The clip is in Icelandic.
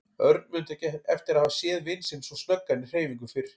Örn mundi ekki eftir að hafa séð vin sinn svo snöggan í hreyfingum fyrr.